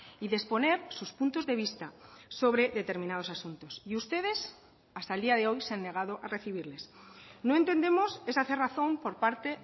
y de exponer sus puntos de vista sobre determinados asuntos y ustedes hasta el día de hoy se han negado a recibirles no entendemos esa cerrazón por parte